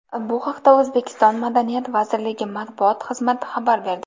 Bu haqda O‘zbekiston madaniyat vazirligi matbuot xizmati xabar berdi .